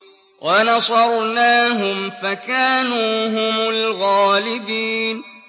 وَنَصَرْنَاهُمْ فَكَانُوا هُمُ الْغَالِبِينَ